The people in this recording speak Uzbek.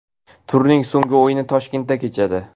Turning so‘nggi o‘yini Toshkentda kechadi.